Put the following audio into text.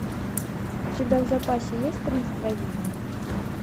у тебя в запасе есть по настроению